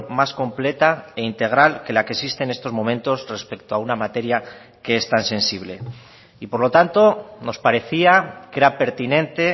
más completa e integral que la que existe en estos momentos respecto a una materia que es tan sensible y por lo tanto nos parecía que era pertinente